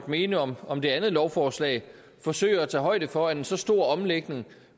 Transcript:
mene om om det andet lovforslaget forsøger at tage højde for at en så stor omlægning